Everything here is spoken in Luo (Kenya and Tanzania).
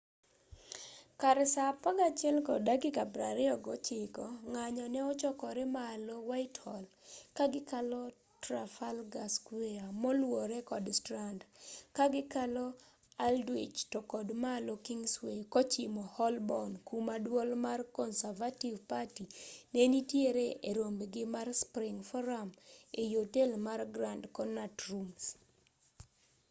kar saa 11:29 ng'anyo ne ochorore malo whitehall ka gikalo traffalgar square moluwore kod strand ka gikalo aldwych to kod malo kingsway kochimo holborn kuma duol mar conservative party ne nitiere e rombgi mar spring forum ei otel mar grand connaut rooms